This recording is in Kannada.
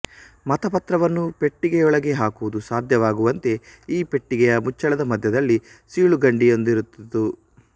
ಮತಪತ್ರವನ್ನು ಪೆಟ್ಟಿಗೆಯೊಳಕ್ಕೆ ಹಾಕುವುದು ಸಾಧ್ಯವಾಗುವಂತೆ ಈ ಪೆಟ್ಟಿಗೆಯ ಮುಚ್ಚಳದ ಮಧ್ಯದಲ್ಲಿ ಸೀಳುಗಂಡಿಯೊಂದಿರುತ್ತಿತ್ತು